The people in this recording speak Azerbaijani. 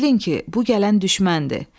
Bilin ki, bu gələn düşməndir.